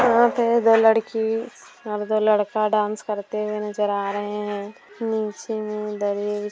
यहाँ पे दो लड़की और दो लड़का डांस करते हुए नजर आ रहे है नीचे मे।